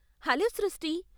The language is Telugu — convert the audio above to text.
హలో సృష్టీ!